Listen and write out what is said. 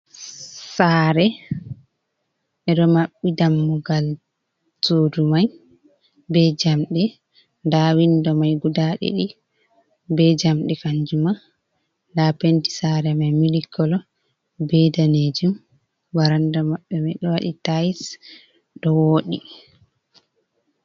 Sare ɓeɗo maɓɓi dammugal sudu mai be jamɗe nda windo mai guda ɗiɗi be jamɗe, kanjuma nda penti sare mai mili kolo be ɗanejum varanda maɓɓe ma ɗo waɗi tais ɗo woɗi.